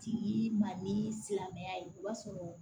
Ti ma ni silamɛya ye o b'a sɔrɔ